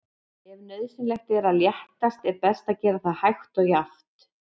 Ef nauðsynlegt er að léttast er best að gera það hægt og jafnt.